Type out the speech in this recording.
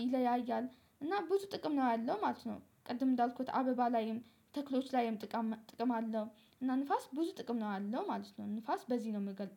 ይለያያል እና ብዙ ጥቅም ነው ያለው ማለት ነው። ቅድም እንዳልኩት አበባ ላይም ተክሎች ላይም ጥቅም ጥቅም አለው እና ንፋስ ብዙ ጥቅም ነው አለው ማለት ነው። ንፋስ በዚህ ነው የምገልጸው